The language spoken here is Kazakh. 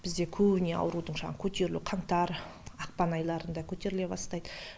бізде көбіне аурудың жаңағы көтерілуі қаңтар ақпан айларында көтеріле бастайды